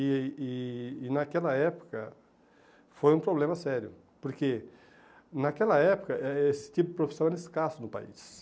E e e naquela época foi um problema sério, porque naquela época eh esse tipo de profissão era escasso no país.